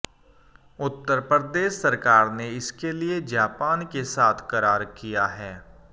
उत्तर प्रदेश सरकार ने इसके लिए जापान के साथ करार किया है